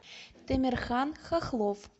темирхан хохлов